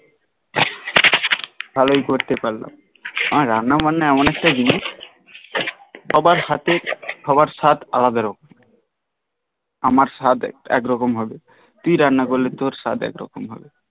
ভালই করতে পারলাম আর রান্না বান্না এমন একটা জিনিস সবার হাতে সবার স্বাদ আলাদা রকম আমার স্বাদ আলাদা রকম আমার স্বাদ একরকম হবে, তুই রান্না করলে তর স্বাদ একরকম হবে